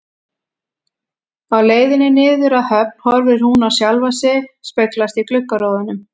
Á leiðinni niður að höfn horfir hún á sjálfa sig speglast í gluggarúðunum.